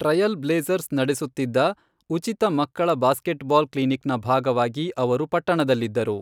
Trial Blazers ನಡೆಸುತ್ತಿದ್ದ ಉಚಿತ ಮಕ್ಕಳ ಬ್ಯಾಸ್ಕೆಟ್ಬಾಲ್ ಕ್ಲಿನಿಕ್ನ ಭಾಗವಾಗಿ ಅವರು ಪಟ್ಟಣದಲ್ಲಿದ್ದರು.